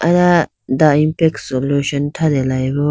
aya the impex solution thratelayibo.